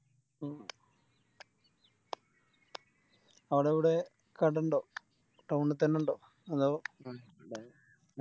അവിടെ എവിടെ കട ഇണ്ടോ Town ത്തന്നെ ഇണ്ടോ അതോ